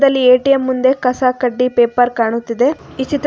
ಇಲ್ಲಿ ಎ_ಟಿ_ಎಂ ಮುಂದೆ ಕಸ ಕಡ್ಡಿ ಪೇಪರ್ ಕಾಣುತ್ತಿದೆ ಈ ಚಿತ್ರ--